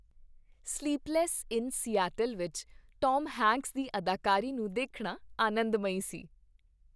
Sleepless in Seattle ਵਿੱਚ Tom Hanks ਦੀ ਅਦਾਕਾਰੀ ਨੂੰ ਦੇਖਣਾ ਆਨੰਦਮਈ ਸੀ।